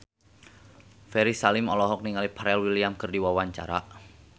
Ferry Salim olohok ningali Pharrell Williams keur diwawancara